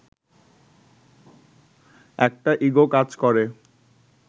একটা ইগো কাজ করে